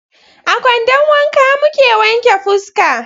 a kwandon wanka muke wanke fuska.